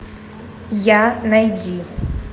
я найди